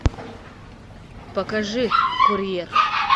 покажи курьер